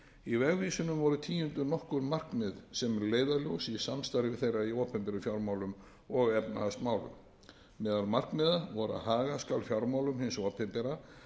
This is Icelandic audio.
í vegvísinum voru tíunduð nokkur markmið sem eru leiðarljós í samstarfi þeirra í opinberum fjármálum og efnahagsmálum meðal markmiða voru að haga skal fjármálum hins opinbera